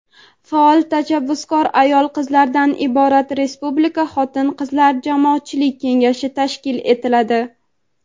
faol va tashabbuskor ayollardan iborat Respublika Xotin-qizlar jamoatchilik kengashi tashkil etiladi.